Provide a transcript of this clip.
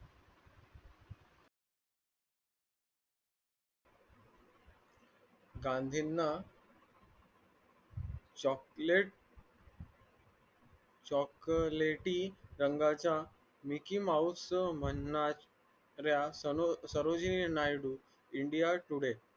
गांधींना chocolate chclate टी रंगाच्या mickey mouse म्हणणाऱ्या india today